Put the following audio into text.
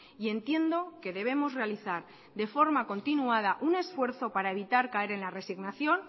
y entiendo que debemos realizar de forma continuada un esfuerzo para evitar caer en la resignación